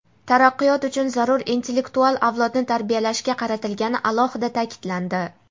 taraqqiyot uchun zarur intellektual avlodni tarbiyalashga qaratilgani alohida ta’kidlandi.